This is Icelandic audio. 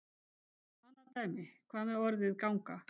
Tökum annað dæmi: Hvað með orðið ganga?